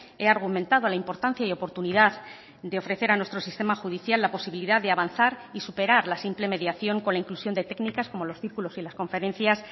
he argumentado la importancia y oportunidad de ofrecer a nuestro sistema judicial la posibilidad de avanzar y superar la simple mediación con la inclusión de técnicas como los círculos y las conferencias